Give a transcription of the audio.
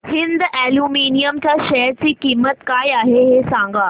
Hind aluminium च्या share ची किंमत काय आहे हे सांगा